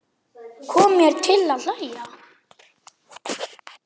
Kom mér til að hlæja.